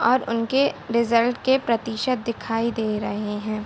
और उनके रिजल्ट के प्रतिशत दिखाई दे रहें हैं।